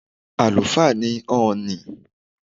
Àlùfáà ni Ọ̀ọ̀ni.